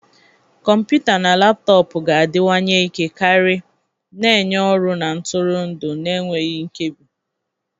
Kọmputa na laptọọpụ ga-adịwanye ike karị, na-enye ọrụ na ntụrụndụ na-enweghị nkebi.